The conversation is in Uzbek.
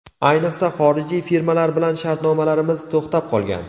Ayniqsa, xorijiy firmalar bilan shartnomalarimiz to‘xtab qolgan.